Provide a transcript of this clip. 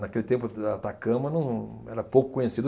Naquele tempo Atacama, num, era pouco conhecido.